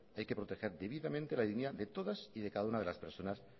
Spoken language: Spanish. hay que proteger debidamente la dignidad de todas y de cada una de las personas